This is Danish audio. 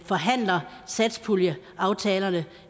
forhandler satspuljeaftalerne